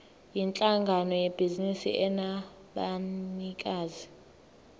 yinhlangano yebhizinisi enabanikazi